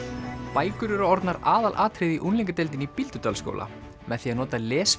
bækur eru orðnar aðalatriðið í unglingadeildinni í Bíldudalsskóla með því að nota